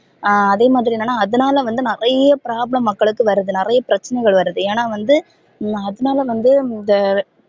அஹ் அதே மாதிரி என்னனா அதுனால வந்து நிறைய problem மக்களுக்கு வருது நிறைய பிரச்சனைகள் வருது ஏனா வந்து அதனால வந்து இந்த